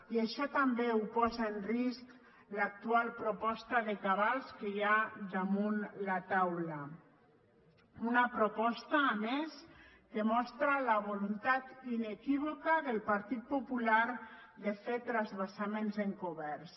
i això també ho posa en risc l’actual proposta de cabals que hi ha damunt la taula una proposta a més que mostra la voluntat inequívoca del partit popular de fer transvasaments encoberts